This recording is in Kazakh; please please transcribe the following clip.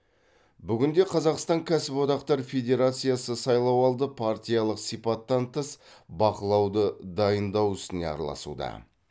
бүгінде қазақстан кәсіподақтар федерациясы сайлауалды партиялық сипаттан тыс бақылауды дайындау ісіне араласуда